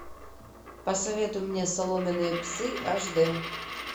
посоветуй мне соломенные псы аш д